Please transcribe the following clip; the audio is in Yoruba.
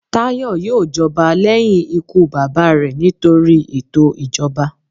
Tayo yoò jọba lẹhin ikú baba rẹ nitori eto ijọba.